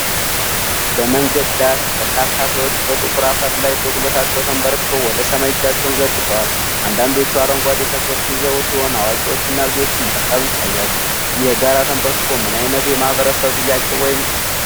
በመንገድ ዳር፣ በርካታ ሰዎች በጥቁር አፈር ላይ በጉልበታቸው ተንበርክከው ወደ ሰማይ እጃቸውን ዘርግተዋል። አንዳንዶቹ አረንጓዴ ተክሎች ይዘው ሲሆን፣ አዋቂዎችና ልጆችም በአካባቢው ይታያሉ። ይህ የጋራ ተንበርክኮ ምን ዓይነት የማህበረሰብ ጥያቄ ወይም ጸሎት ሊሆን ይችላል?